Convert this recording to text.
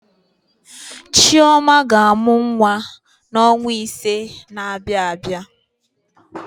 Chioma ga-amụ nwa ya n'ọnwa ise na-abịa abịa.